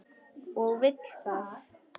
Og vill það.